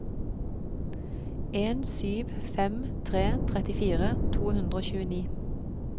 en sju fem tre trettifire to hundre og tjueni